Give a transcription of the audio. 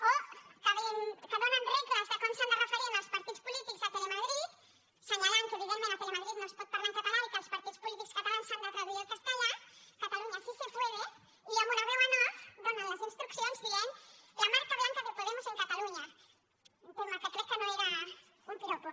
o que donen regles de com s’han de referir als partits polítics a telemadrid assenyalant que evidentment a telemadrid no es pot parlar en català i que els partits polítics catalans s’han de traduir al castellà cataluña sí se puede i amb una veu en offdient la marca blanca de podemos en cataluña que crec que no era un piropo